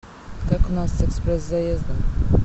как у нас с экспресс заездом